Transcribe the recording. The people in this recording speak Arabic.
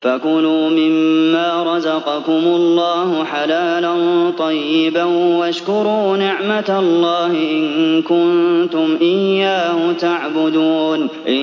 فَكُلُوا مِمَّا رَزَقَكُمُ اللَّهُ حَلَالًا طَيِّبًا وَاشْكُرُوا نِعْمَتَ اللَّهِ إِن كُنتُمْ إِيَّاهُ تَعْبُدُونَ